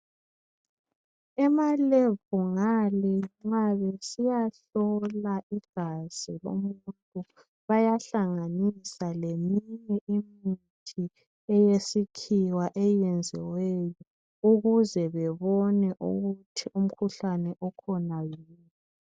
Emalebhu ngale nxa besiyahlola igazi lomuntu bayahlanganisa leminye imithi yesikhiwa eyenziweyo ukuze bebone ukuthi umkhuhlane okhona yiwuphi.